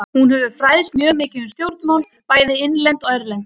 Hún hefur fræðst mjög mikið um stjórnmál, bæði innlend og erlend.